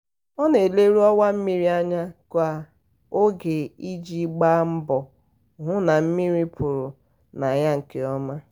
ọ na-eleru ọwa mmiri anya ka oge iji gba mbọ hụ na mmiri pụrụ na ya nke ọma.